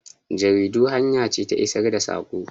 Jaridu hanya ce ta isar da sako.